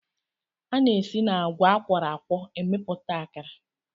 A na-esi n'agwa a kwọrọ akwọ emepụta akara